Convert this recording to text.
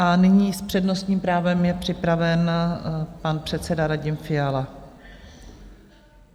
A nyní s přednostním právem je připraven pan předseda Radim Fiala.